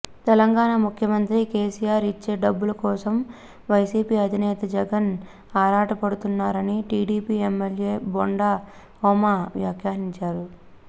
తెలంగాణ ముఖ్యమంత్రి కేసీఆర్ ఇచ్చే డబ్బుల కోసం వైసీపీ అధినేత జగన్ ఆరాటపడుతున్నారని టీడీపీ ఎమ్మెల్యే బొండా ఉమ వ్యాఖ్యానించారు